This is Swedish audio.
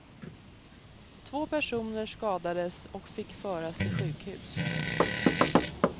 Två personer skadades och fick föras till sjukhus.